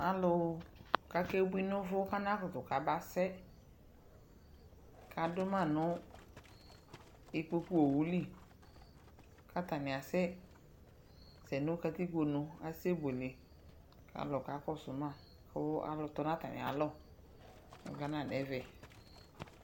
Alʋ kʋ akebui nʋ ʋvʋ kʋ anakʋtʋ kabasɛ kʋ adʋ ma nʋ ikpokuowu li kʋ atanɩ asɛsɛ nʋ katikponu nʋ asɛ yovone kʋ alʋ kakɔsʋ ma Kʋ alʋ tɔ nʋ atamɩalɔ Ɔgana dʋ ɛvɛ